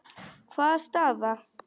Hvaða staða?